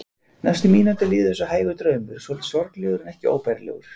Næstu mínútur liðu eins og hægur draumur, svolítið sorglegur en ekki óbærilegur.